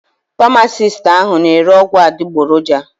Pamasist ahụ n' ere ọgwụ adịgboroja.